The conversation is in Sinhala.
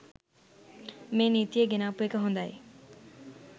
මේ නීතිය ගෙනාපු එක හොඳයි